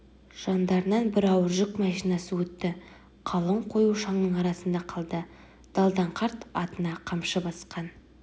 жаңдарынан бір ауыр жүк машинасы өтті қалың қою шаңның арасында қалды далдан қарт атына қамшы басқан